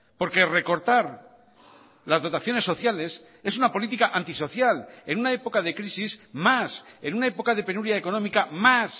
porque recortar las dotaciones sociales es una política antisocial en una época de crisis más en una época de penuria económica más